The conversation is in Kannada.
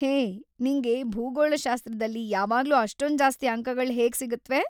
ಹೇ, ನಿಂಗೆ ಭೂಗೋಳಶಾಸ್ತ್ರದಲ್ಲಿ ಯಾವಾಗ್ಲೂ ಅಷ್ಟೊಂದ್ ಜಾಸ್ತಿ ಅಂಕಗಳ್‌ ಹೇಗ್ ಸಿಗುತ್ವೆ?